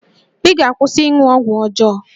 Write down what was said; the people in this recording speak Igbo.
Ị ga-akwụsị ịṅụ ọgwụ ọjọọ!